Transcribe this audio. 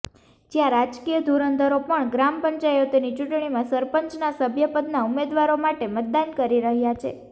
જ્યા રાજકીય ધુરંધરો પણ ગ્રામપંચાયતોની ચૂંટણીમાં સરપંચના સભ્યપદના ઉમેદવારો માટે મતદાન કરી રહ્યા છે